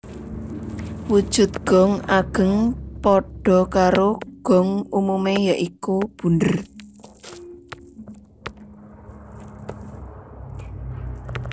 Wujud gong ageng padha karo gong umume ya iku bunder